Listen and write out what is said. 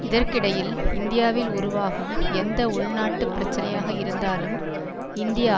இதற்கிடையில் இந்தியாவில் உருவாகும் எந்த உள்நாட்டுப் பிரச்சனையாக இருந்தாலும் இந்திய